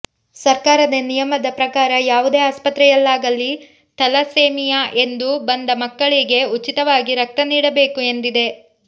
ಸರ್ಕಾರದ ನಿಯಮದ ಪ್ರಕಾರ ಯಾವುದೇ ಆಸ್ಪತ್ರೆಯಲ್ಲಾಗಲಿ ಥಲಸೇಮಿಯಾ ಎಂದು ಬಂದ ಮಕ್ಕಳಿಗೆ ಉಚಿತವಾಗಿ ರಕ್ತ ನೀಡಬೇಕು ಎಂದಿದೆ